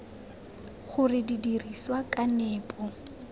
gore di dirisiwa ka nepo